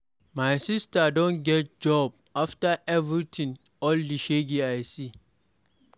My sister Don get job after everything, all the shege I see.